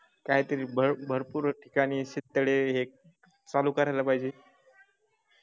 काहीतरी भरपूर ठिकाणी शेततळे चालू करायला पाहिजे